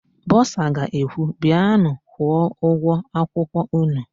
Bọsa ga-ekwu, "bịanụ kwụọ ụgwọ akwụkwọ ụnụ"!